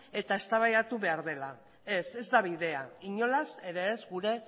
eta eztabaidatu behar dela ez ez da bidea inolaz ere ez gure